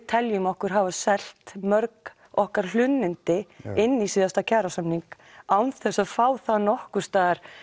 teljum okkur hafa selt mörg okkar hlunnindi inn í síðasta kjarasamning án þess að fá þá nokkurs staðar